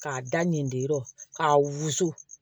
K'a da nin de k'a wusu